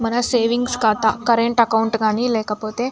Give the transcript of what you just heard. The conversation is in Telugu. మన సేవింగ్స్ ఖాతా కరెంటు అకౌంట్ కానీ లేకపోతే --